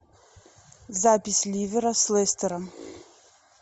запись ливера с лестером